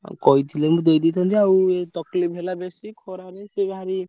ଅ କହିଥିଲେ ମୁଁ ଦେଇଦେଇଥାନ୍ତି ଆଉ ଏଇ तकलीफ ହେଲା ବେଶୀ ଖରାରେ ସେ ଭାରି।